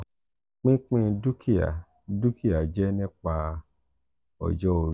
pipin dukia dukia jẹ nipa ojo-ori.